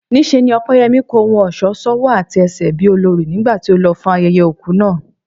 Níṣe ni Ọpẹ́yẹmí kó ohun ọ̀ṣọ́ sọ́wọ́ àti ẹsẹ̀ bí olorì nígbà tó lọ fún ayẹyẹ òkú náà